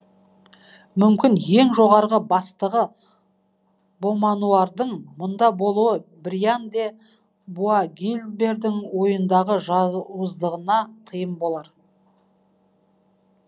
мүмкін ең жоғарғы бастығы бомануардың мұнда болуы бриан де буагильбердің ойындағы жауыздығына тыйым болар